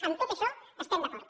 en tot això estem d’acord